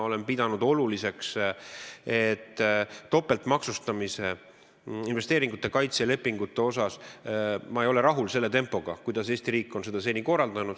Topeltmaksustamise vältimise ja investeeringute kaitse lepingute puhul ei ole ma rahul tempoga, kuidas Eesti riik on seda seni korraldanud.